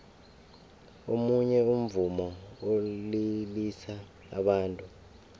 omunye umvumo ulilisa abantu